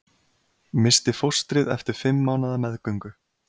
Missti fóstrið eftir fimm mánaða meðgöngu